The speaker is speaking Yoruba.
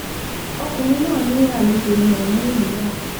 ọkùnrin náà ní àlejò ní òun nílùú náà